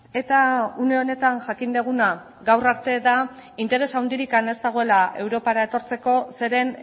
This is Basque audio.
eta une honetan jakin duguna gaur arte da interes handirik ez dagoela europara etortzeko zeren